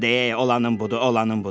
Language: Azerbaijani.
Sən deyə olanın budur, olanın budur.